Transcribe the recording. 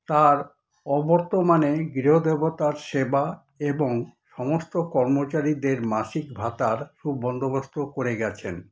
তার অবর্তমানে গৃহ-দেবতার সেবা এবং সমস্ত কর্মচারীদের মাসিক ভাতার সুবন্দোবস্ত করে গেছেন।